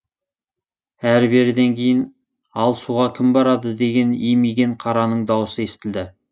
әрі беріден кейін ал суға кім барады деген имиген қараның дауысы естілді